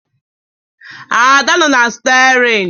Ada nọ na Stiarin